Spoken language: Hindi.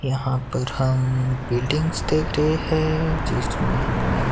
यहां पर हम बिल्डिंग्स देख रहे हैं जिसमें हमें--